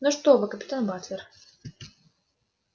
ну что вы капитан батлер